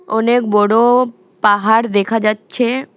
অনেক বড়ো পাহাড় দেখা যাচ্ছে।